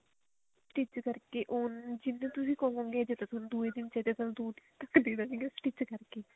stitch ਕਰਕੇ ਉਹ ਜਿੰਨਾ ਤੁਸੀਂ ਕਹੋਗੇ ਜੇ ਦੂਜੇ ਦਿਨ ਚਾਹੀਦਾ ਤਾਂ ਦੋ ਦਿਨਾ ਤੱਕ ਦੇ ਦੇਣਗੇ stitch ਕਰਕੇ